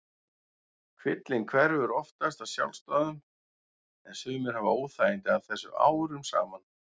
Kvillinn hverfur oftast af sjálfsdáðum en sumir hafa óþægindi af þessu árum saman.